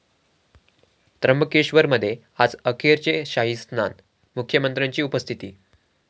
त्र्यंबकेश्वरमध्ये आज अखेरचे शाहीस्नान, मुख्यमंत्र्यांची उपस्थिती